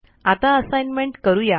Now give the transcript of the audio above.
आता असाइनमेंट करू या